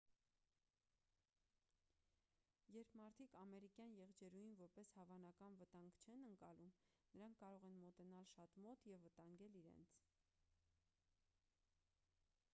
երբ մարդիկ ամերիկյան եղջերուին որպես հավանական վտանգ չեն ընկալում նրանք կարող են մոտենալ շատ մոտ և վտանգել իրենց